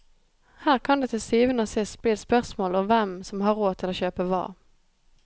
Her kan det til syvende og sist bli et spørsmål om hvem som har råd til å kjøpe hva.